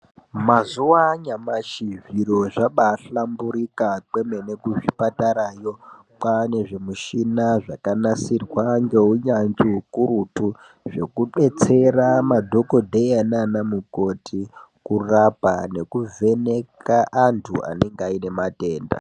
Mazuwanyashi zviro zvabahlamburika kwemene kuzvipatarayo kwane zvimushina zvakanasirwa ngeunyanzvi ukurutu zvekubetsera madhokodheya nana mukoti kurapa nekuvheneka antu anenge aine matenda.